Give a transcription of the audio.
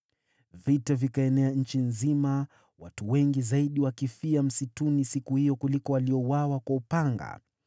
Vita vikaenea nchi nzima, watu wengi zaidi wakifia msituni siku hiyo kuliko waliouawa kwa upanga.